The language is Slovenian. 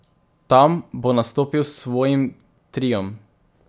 Tam bo nastopil s svojim Triom.